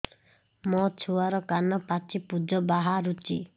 ମୋ ଛୁଆର କାନ ପାଚି ପୁଜ ବାହାରୁଛି